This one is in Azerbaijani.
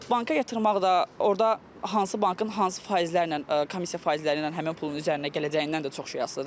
Banka yatırmaq da, orda hansı bankın hansı faizlərlə, komissiya faizləri ilə həmin pulun üzərinə gələcəyindən də çox şey asılıdır.